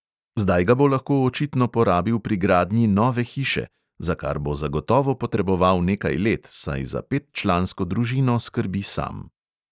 Zdaj ga bo lahko očitno porabil pri gradnji nove hiše, za kar bo zagotovo potreboval nekaj let, saj za petčlansko družino skrbi sam.